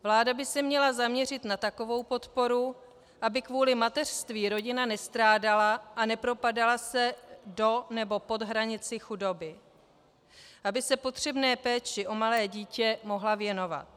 Vláda by se měla zaměřit na takovou podporu, aby kvůli mateřství rodina nestrádala a nepropadala se do nebo pod hranici chudoby, aby se potřebné péči o malé dítě mohla věnovat.